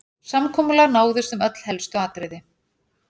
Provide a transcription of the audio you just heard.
Samkomulag náðist um öll helstu atriði